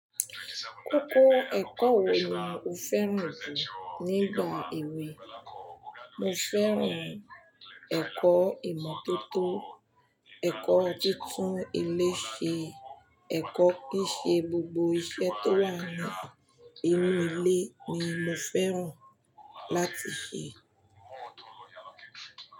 Kọ́kọ́ ẹ̀kọ́ wo ni o fẹ́ràn jù nígbà èwe? Mo fẹ́ràn ẹ̀kọ́ ìmọ́tótó, ẹ̀kọ́ títún ilé ṣe, ẹ̀kọ́ kí n ṣe gbogbo iṣẹ́ tó wà ní inú ilé ni mo fẹ́ràn láti ṣe.